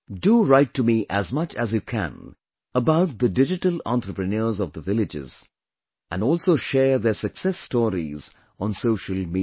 Do write to me as much as you can about the Digital Entrepreneurs of the villages, and also share their success stories on social media